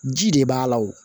Ji de b'a la o